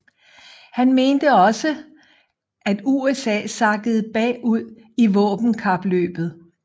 Han mente også at USA sakkede bag ud i våbenkapløbet